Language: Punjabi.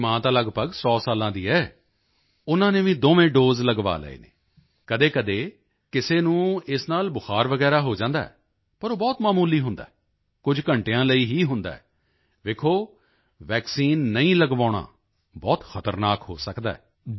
ਮੇਰੀ ਮਾਂ ਤਾਂ ਲਗਭਗ 100 ਸਾਲਾਂ ਦੀ ਹੈ ਉਨ੍ਹਾਂ ਨੇ ਵੀ ਦੋਵੇਂ ਦੋਸੇ ਲਗਵਾ ਲਏ ਹਨ ਕਦੇਕਦੇ ਕਿਸੇ ਨੂੰ ਇਸ ਨਾਲ ਬੁਖਾਰ ਵਗੈਰਾ ਹੋ ਜਾਂਦਾ ਹੈ ਪਰ ਉਹ ਬਹੁਤ ਮਾਮੂਲੀ ਹੁੰਦਾ ਹੈ ਕੁਝ ਘੰਟਿਆਂ ਲਈ ਹੀ ਹੁੰਦਾ ਹੈ ਵੇਖੋ ਵੈਕਸੀਨ ਨਹੀਂ ਲਗਵਾਉਣਾ ਬਹੁਤ ਖਤਰਨਾਕ ਹੋ ਸਕਦਾ ਹੈ